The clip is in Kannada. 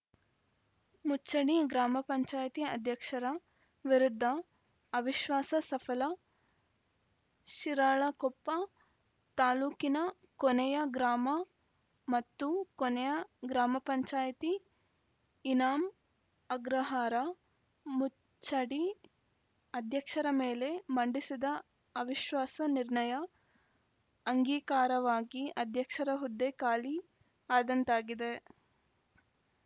ಮುಚಣಿ ಗ್ರಾಮ ಪಂಚಾಯತಿ ಅಧ್ಯಕ್ಷರ ವಿರುದ್ಧ ಅವಿಶ್ವಾಸ ಸಫಲ ಶಿರಾಳಕೊಪ್ಪ ತಾಲೂಕಿನ ಕೊನೆಯ ಗ್ರಾಮ ಮತ್ತು ಕೊನೆಯ ಗ್ರಾಮ ಪಂಚಾಯತಿ ಇನಾಂ ಅಗ್ರಹಾರ ಮುಚಡಿ ಅಧ್ಯಕ್ಷರ ಮೇಲೆ ಮಂಡಿಸಿದ ಅವಿಶ್ವಾಸ ನಿರ್ಣಯ ಅಂಗೀಕಾರವಾಗಿ ಅಧ್ಯಕ್ಷರ ಹುದ್ದೆ ಖಾಲಿ ಆದಂತಾಗಿದೆ